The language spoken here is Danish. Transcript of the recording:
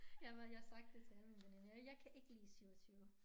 Jeg har jeg har sagt det til alle mine veninder jeg kan ikke lide 27